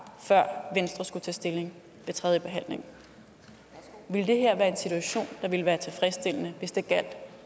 før venstre skulle tage stilling ved tredjebehandlingen ville det her være en situation der ville være tilfredsstillende hvis det gjaldt